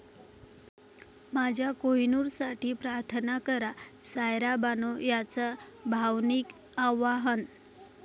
माझ्या कोहिनूरसाठी प्रार्थना करा, सायरा बानो यांचं भावनिक आवाहन